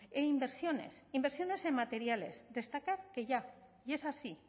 e inversiones inversiones en materiales destacar que ya y es así